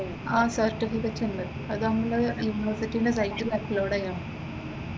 ആഹ് certificates ഉണ്ട് അത് നമ്മള് യൂണിവേഴ്സിറ്റിന്റെ സൈറ്റിൽ അപ്‌ലോഡ് ചെയ്യണം.